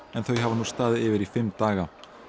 en þau hafa nú staðið yfir í fimm daga